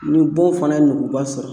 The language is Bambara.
Ni bon fana ye nuguba sɔrɔ